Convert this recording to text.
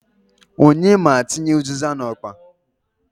Onye m' atinye u᷂zịza n'okpa?